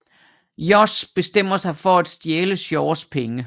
Josh bestemmer sig for at stjæle Shaws penge